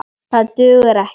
Það dugar ekki.